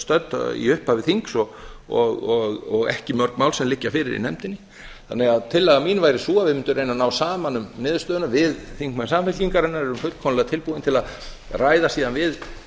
stödd í upphafi þings og ekki mörg mál sem liggja fyrir í nefndinni þannig að tillaga mín væri sú að við mundum reyna að ná saman um niðurstöðuna við þingmenn samfylkingarinnar erum fullkomlega tilbúin til að ræða síðan við